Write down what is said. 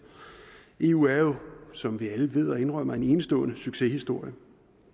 eu er jo som vi alle ved og indrømmer en enestående succeshistorie